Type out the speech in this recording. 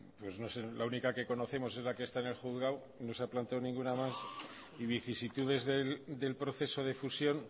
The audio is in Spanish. pues no sé la única que conocemos es la que está en el juzgado no se ha planteado ninguna más y vicisitudes del proceso de fusión